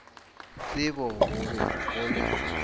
tsebo go be go le